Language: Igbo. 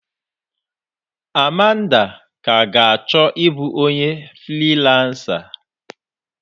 Amanda ka ga achọ ịbụ onye friiransa.